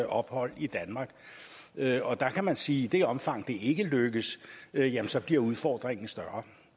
ophold i danmark og der kan man sige at i det omfang det ikke lykkes jamen så bliver udfordringen større